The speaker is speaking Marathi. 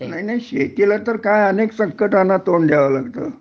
नाही नाही शेतीला तर काय अनेक संकटाना तोंड द्यावं लागतं